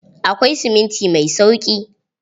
Akwai siminti mai sauƙi.